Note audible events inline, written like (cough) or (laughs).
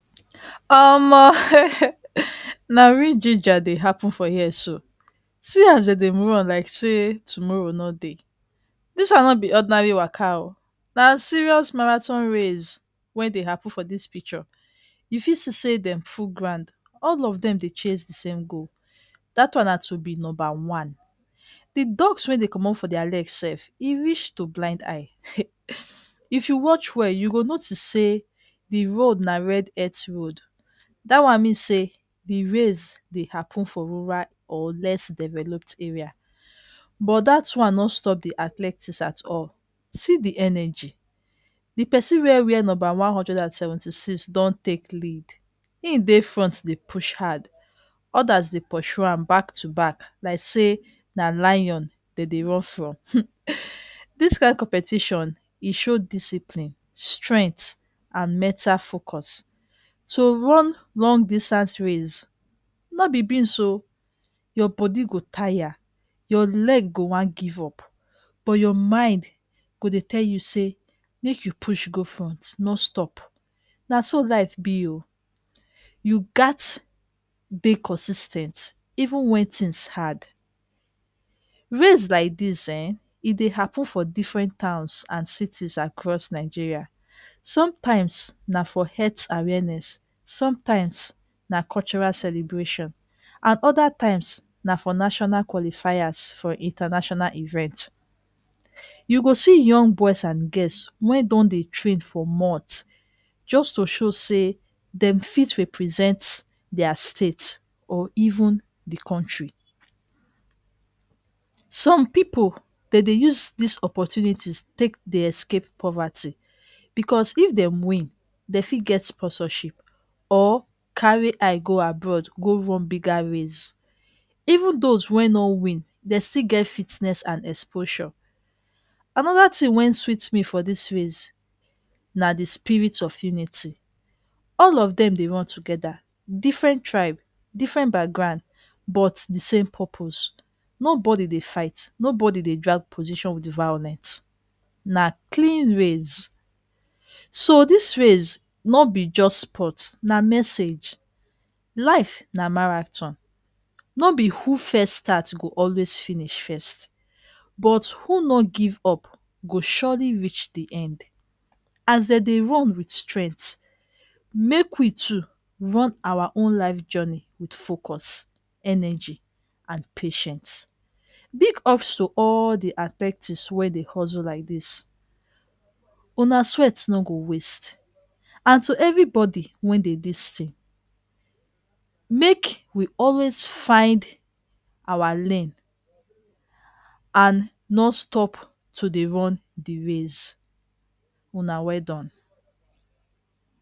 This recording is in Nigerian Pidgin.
Omoh! na real ginger dey happen for here so. See as dem dey run like sey tomorrow no dey. Dis one no be ordinary waka o, na serious marathon race wey dey happen for dis picture. You fit see sey dem full ground. All of dem dey chase the same goal. Dat one na to be number one. De dust wey dey comot for dia leg sef e reach to blind eye. (laughs) If you watch well, you go notice sey the road na red earth road. Dat one mean sey de race dey happen for rural or less developed area. But dat one no stop the athletics at all. See de energy! De pesin wey wear number one hundred and seventy-six don take lead. Im dey front dey push hard, others dey pursue am back-to-back like sey na lion de dey run from. Dis kind competition e show discipline, strength and mental focus. To run long distance race no be beans o! Your body go tire, your leg go wan give up, but your mind go dey tell you sey make you push go front, no stop. Na so life be o! You gats dey consis ten t even when things hard. Race like dis um, e dey happen for different towns and cities across Nigeria. Sometimes, na for health awareness. Sometimes, na cultural celebration and other times, na for national qualifiers for international event. You go see young boys and girls wey don dey train for months just to show sey dem fit represent dia state or even de country. Some pipu de dey use these opportunities take dey escape poverty. Because if dem win, dem fit get sponsorship or carry eye go abroad go run bigger race. Even those wey no win, dem still get fitness and exposure. Another thing wey sweet me for dis race na de spirit of unity. All of dem dey run together; different tribe, different background, but de same purpose. Nobody dey fight, nobody dey drag position with violent, na clean race. So dis race no be just sport, na message. Life na marathon. No be who first start go always finish first, but who no give up go surely reach the end. As de dey run with strength, make we too run awa own life-journey with focus, energy and patient ‘Big ups to all de athletes wey dey hustle like dis’, una sweat no go waste. And to everybody wey dey lis ten, make we always find awa lane and no stop to dey run de race. Una well done!